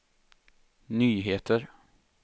nyheter